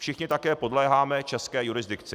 Všichni také podléháme české jurisdikci.